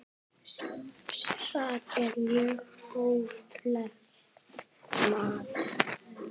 Það er mjög hóflegt mat.